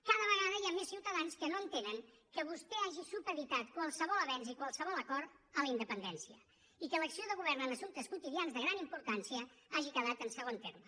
cada vegada hi ha més ciutadans que no entenen que vostè hagi supeditat qualsevol avenç i qualsevol acord a la independència i que l’acció de govern en assumptes quotidians de gran importància hagi quedat en segon terme